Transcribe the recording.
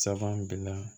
Saban b